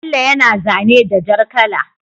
Bello yana zane da jar kala